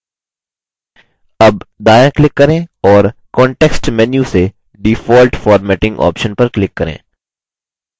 अब दायाँ click करें और context menu से default formatting option पर click करें